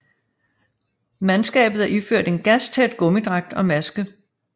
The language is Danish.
Mandskabet er iført en gastæt gummidragt og maske